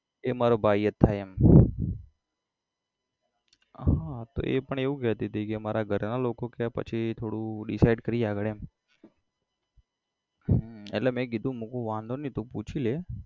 એ મારો ભાઈ જ થાય એમ હા તો એ પણ એવું કહેતી હતી કે મારા ઘરના લોકો કહે પછી થોડું decide કરીએ આગળ એમ હમ એટલે મેં કીધું મુ કીધું વાંધો નઈ તું પૂછી લે